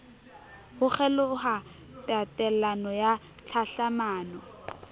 ho kgeloha tatelano ya tlhahlamano